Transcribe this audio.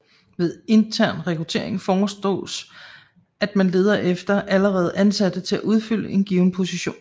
Ved intern rekruttering forstås at man leder efter allerede ansatte til at udfylde en given position